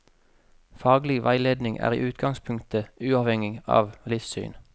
Faglig veiledning er i utgangspunktet uavhengig av livssyn.